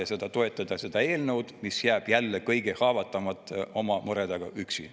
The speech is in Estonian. Ei saa te toetada seda eelnõu, mis jätab jälle kõige haavatavamad oma muredega üksi.